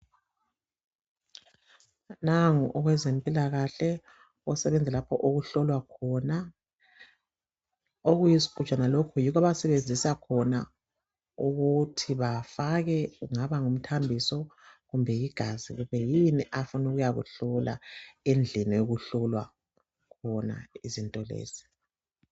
Nangu owezempilakahle osebenza lapho okuhlolwa khona okuyisigujana lokhu yikho abasebenzisa khona ukuthi bafake kugaba ngumthambiso kumbe yigazi kumbe yini afuna ukuyakuhlola endlini okuhlolwa khona izinto lezi